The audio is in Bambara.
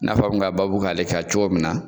I n'a fɔ a bɛ ka babu k'ale ka cogo min na.